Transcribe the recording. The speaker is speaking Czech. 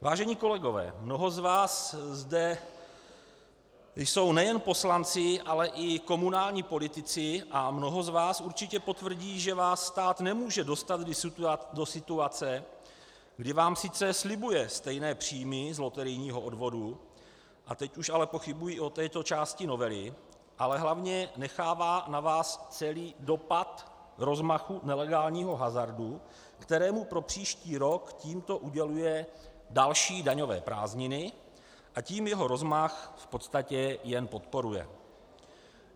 Vážení kolegové, mnoho z vás zde jsou nejen poslanci, ale i komunální politici a mnoho z vás určitě potvrdí, že vás stát nemůže dostat do situace, kdy vám sice slibuje stejné příjmy z loterijního odvodu - a teď už ale pochybuji o této části novely -, ale hlavně nechává na vás celý dopad rozmachu nelegálního hazardu, kterému pro příští rok tímto uděluje další daňové prázdniny, a tím jeho rozmach v podstatě jen podporuje.